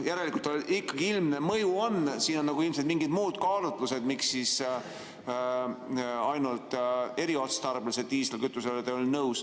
Järelikult ikkagi ilmne mõju on, siin on ilmselt mingid muud kaalutlused, miks ainult eriotstarbelise diislikütusega olete nõus.